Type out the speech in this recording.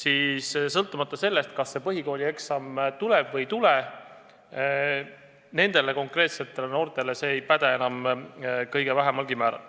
Aga sõltumata sellest, kas see põhikoolieksam tuleb või ei tule, nendele konkreetsetele noortele see ei mõju enam kõige vähemalgi määral.